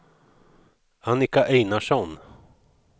Annika Einarsson